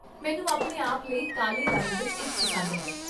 ਮੈਨੂੰ ਆਪਣੇ ਆਪ ਲਈ ਕਾਲੇ ਰੰਗ ਵਿੱਚ ਇੱਕ ਪਸੰਦ ਹੈ